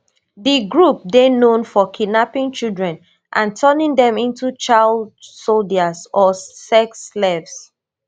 di group dey known for kidnapping children and turning dem into child soldiers or sex slaves